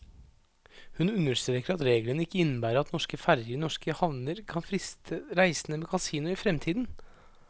Hun understreker at reglene ikke innebærer at norske ferger i norske havner kan friste reisende med kasino i fremtiden.